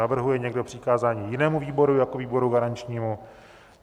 Navrhuje někdo přikázání jinému výboru jako výboru garančnímu?